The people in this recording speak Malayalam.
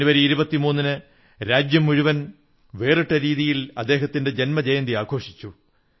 ജനുവരി 23 ന് രാജ്യം മുഴുവൻ വേറിട്ട രീതിയിൽ അദ്ദേഹത്തിന്റെ ജന്മജയന്തി ആഘോഷിച്ചു